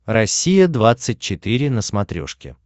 россия двадцать четыре на смотрешке